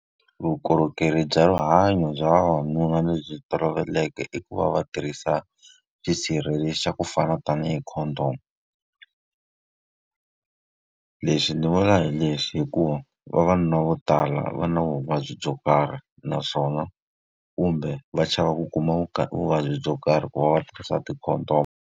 Vukorhokeri bya rihanyo bya vavanuna lebyi toloveleke i ku va va tirhisa swisirheleli swa ku fana tanihi condom. Leswi ndzi vula hi leswi hikuva vavanuna vo tala va na vuvabyi byo karhi, naswona kumbe va chava ku kuma vuvabyi byo karhi ku va va tirhisa ti-condom.